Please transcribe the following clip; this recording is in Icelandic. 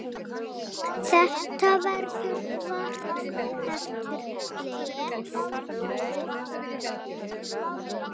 Þetta verður vart eftir leikið.